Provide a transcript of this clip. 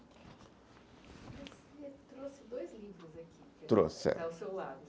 Você trouxe dois livros aqui, trouxe, é, ao seu lado.